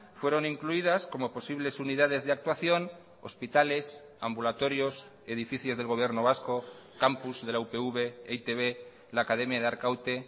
fueron incluidas como posibles unidades de actuación hospitales ambulatorios edificios del gobierno vasco campus de la upv e i te be la academia de arkaute